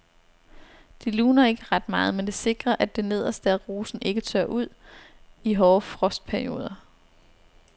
Det luner ikke ret meget, men det sikrer at det nederste af rosen ikke tørrer ud i hårde frostperioder.